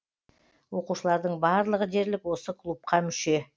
оқушылардың барлығы дерлік осы клубқа мүше